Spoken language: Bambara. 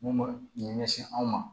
Mun bɛ ɲɛsin anw ma